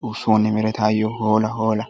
xoosso ne meretayoo hoola hoola!